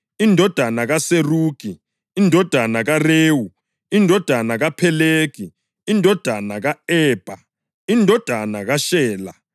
indodana kaSerugi, indodana kaRewu, indodana kaPhelegi, indodana ka-Ebha, indodana kaShela,